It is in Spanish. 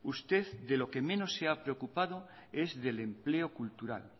usted de lo que menos se ha preocupado es del empleo cultural